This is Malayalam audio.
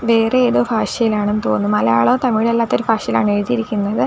വേറെ ഏതോ ഭാഷയിലാണെന്ന് തോന്നുന്നു മലയാളോ തമിഴും അല്ലാത്ത ഒരു ഭാഷയിലാണ് എഴുതിയിരിക്കുന്നത്.